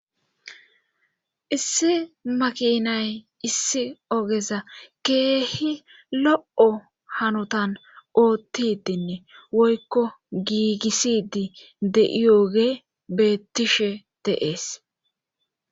issi makinay issi ogeza keehi lo'o hanotan oottidinne woykko giigisidi de'iyooge beettishe de'ees